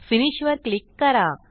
finish वर click करा